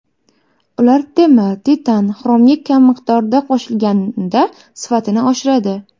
Ular temir, titan, xromga kam miqdorda qo‘shilganda sifatini oshiradi.